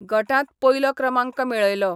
गटांत पयलो क्रमांक मेळयलो.